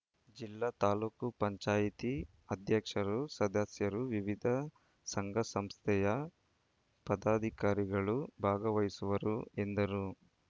ಜಿಲ್ಲಾ ತಾಲೂಕ್ ಪಂಚಾಯತಿ ಅಧ್ಯಕ್ಷರು ಸದಸ್ಯರು ವಿವಿಧ ಸಂಘಸಂಸ್ಥೆಯ ಪದಾಧಿಕಾರಿಗಳು ಭಾಗವಹಿಸುವರು ಎಂದರು